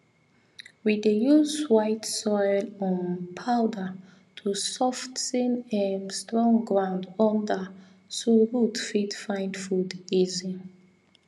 we dey use white soil um powder to sof ten um strong ground under so root fit find food easy